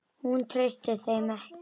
Hún treysti þeim ekki.